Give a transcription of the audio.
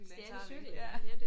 Stjæle en cykel ja